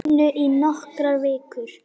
inu í nokkrar vikur.